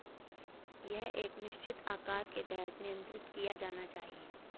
यह एक निश्चित आकार के तहत नियंत्रित किया जाना चाहिए